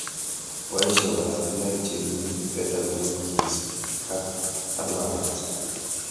Poishe oratinwek che mii ,pedagogies ak hardwarait